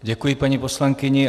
Děkuji, paní poslankyni.